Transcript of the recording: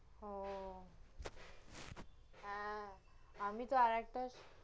ওহ হ্যাঁ, আমি তহ আরেকটা